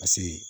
Paseke